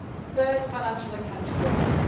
Third, financial accountability.